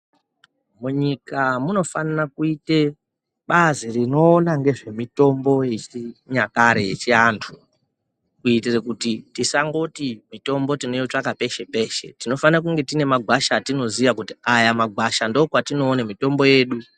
Munyika munofanire kuite bazi rinoona ngezvemitombo yechinyakare yechiantu kuitira kuti tisangoti mitombo tinoitsvaka peshe peshe tinofane kunge tine magwasha atinoziya kuti aya magwasha ndokwatinoone mitombo yedu.